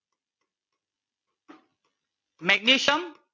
magnesium